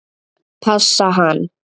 Passa hann?